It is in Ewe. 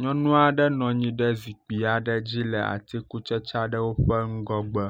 Nyɔnu aɖe nɔ anyi ɖe zikpui dzi le atikutsetse aɖewo ƒe ŋgɔgbe.